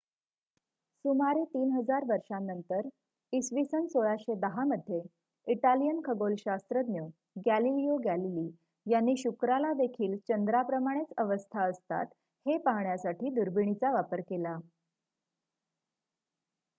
सुमारे ३ हजार वर्षांनंतर इ.स. १६१० मध्ये इटालियन खगोलशास्त्रज्ञ गॅलिलिओ गॅलीली यांनी शुक्रालादेखील चंद्राप्रमाणेच अवस्था असतात हे पाहण्यासाठी दुर्बिणीचा वापर केला